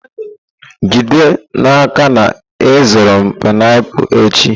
Jide n'aka na ị zụrụ m painiapulu echi!